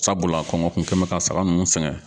Sabula kɔngɔ kun kɛn bɛ ka saga ninnu sɛgɛn.